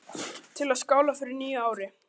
Til að skála í fyrir nýju ári.